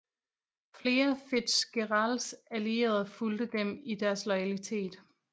Flere FitzGeralds allierede fulgte dem i deres loyalitet